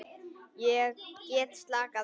Get slakað á.